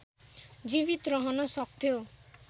जीवित रहन सक्थ्यो